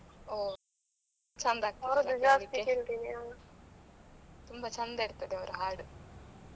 ಓ ಚೆಂದಾ ತುಂಬಾ ಚಂದ ಇರ್ತದೆ ಅವ್ರ ಹಾಡು.